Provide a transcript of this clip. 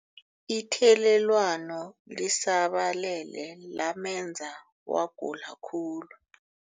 Ithelelwano lisabalele lamenza wagula khulu.